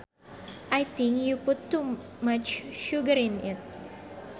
I think you put much sugar in it